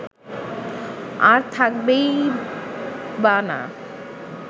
আর থাকবেই বা না